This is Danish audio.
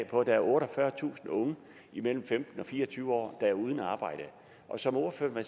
på at der er otteogfyrretusind unge mellem femten og fire og tyve år der er uden arbejde som ordføreren